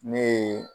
Ne ye